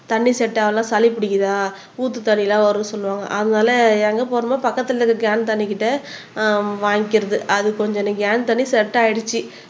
தண்ணி செட் ஆகலனா சளி பிடிக்குதா ஊத்து தண்ணி எல்லாம் வருதுன்னு சொல்லுவாங்க அதனால எங்க போறோமோ பக்கத்துல இருக்குற கேன் தண்ணி கிட்ட ஆஹ் வாங்கிக்கிறது அது கொஞ்சம் கேன் தண்ணி செட் ஆயிடுச்சு